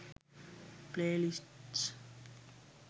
playlists